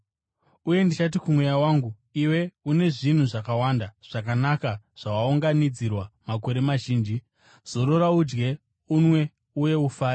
Uye ndichati kumweya wangu, “Iwe une zvinhu zvakawanda zvakanaka zvawakaunganidzirwa makore mazhinji. Zorora, udye, unwe uye ufare.” ’